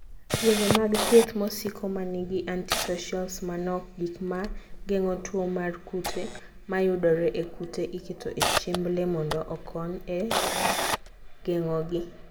Yore mag thieth mosiko ma nigi anticocials manok (gik ma geng'o tuo mar kute mayudore e kute iketo e chiemb le mondo okony e geng'ogi)